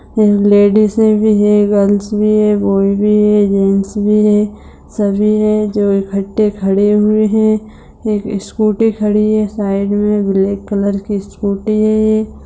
लेडीजे भी है गर्ल्स भी हैं बॉयज भी है जेंट्स भी है सभी है जो इकठे खड़े हुए है एक स्कूटी खड़ी है साइड में ब्लैक कलर क स्कूटी है।